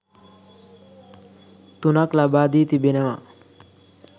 තුනක් ලබා දී තිබෙනවා.